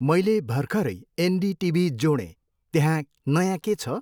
मैले भर्खरै एनडिटिभी जोडेँ, त्यहाँ नयाँ के छ?